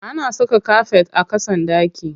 Ana saka kafet a ƙasan ɗaki.